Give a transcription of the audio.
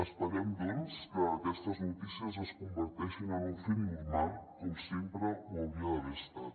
esperem doncs que aquestes notícies es converteixin en un fet normal com sempre ho hauria d’haver estat